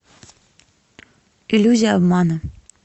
иллюзия обмана